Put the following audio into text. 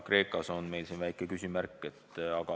Kreeka taga on meil siin väike küsimärk.